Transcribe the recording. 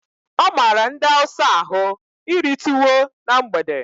Ọ mara ndị hausa ahụ iri tuwo na mgbede